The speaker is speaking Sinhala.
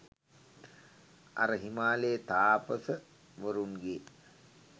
අර හිමාලේ තාපස වරුන්ගේ